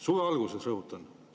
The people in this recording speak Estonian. " Suve alguses, rõhutan.